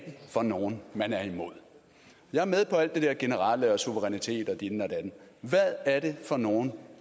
for nogle man er imod jeg er med på alt det der generelle med suverænitet og ditten og datten hvad er det for nogle